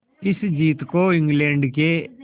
इस जीत को इंग्लैंड के